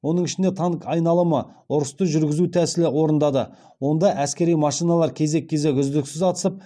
оның ішінде танк айналымы ұрысты жүргізу тәсілі орындады онда әскери машиналар кезек кезек үздіксіз атысып